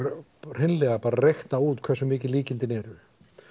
hreinlega bara reikna út hversu mikil líkindin eru